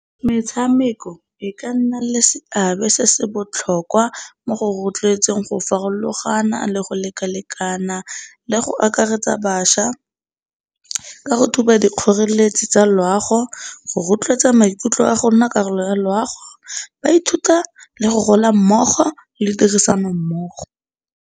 Metshameko e ka nna le seabe se se botlhokwa mo go rotloetseng go farologana le go lekalekana le go akaretsa bašwa ka ka go thuba dikgoreletsi tsa loago, go rotloetsa maikutlo a go nna karolo ya loago. Ba ithuta le go gola mmogo le tirisano mmogo.